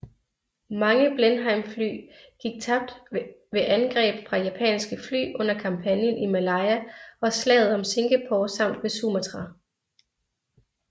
Mange Blenheimfly gik tabt ved angreb fra japanske fly under kampagnen i Malaya og Slaget om Singapore samt ved Sumatra